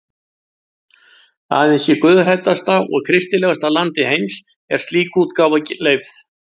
Aðeins í guðhræddasta og kristilegasta landi heims er slík útgáfa leyfð.